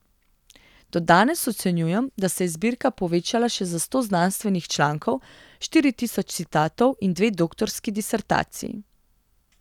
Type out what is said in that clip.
Do danes ocenjujem, da se je zbirka povečala še za sto znanstvenih člankov, štiri tisoč citatov in dve doktorski disertaciji.